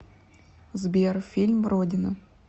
сбер фильм родина